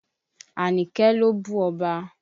Àníkẹ́ ló bú ọba.